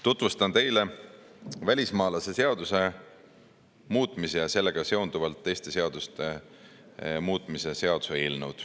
Tutvustan teile välismaalaste seaduse muutmise ja sellega seonduvalt teiste seaduste muutmise seaduse eelnõu.